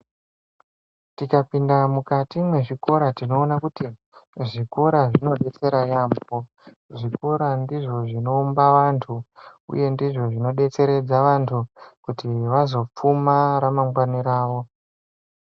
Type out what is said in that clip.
Tika pinda mukati mwe zvikora tinoona kuti zvikora zvino detsera yambo zvikora ndizvo zvino umba vantu uye ndizvo zvino detseredza vantu kuti vazo pfuma ra mangwani ravo.